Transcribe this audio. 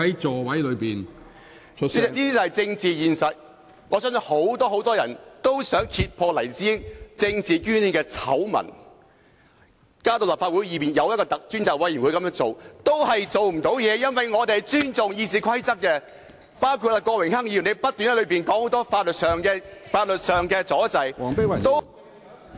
這便是政治現實，我相信很多人也想揭破黎智英政治捐獻的醜聞，把事件提交立法會便是要透過委員會作出調查，但最後卻不能做到，因為我們尊重《議事規則》，亦包括郭榮鏗議員不斷提出很多法律上的問題，造成阻滯......